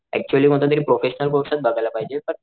actually कोणता तरी professional कोर्सच बघायला पाहिजे पण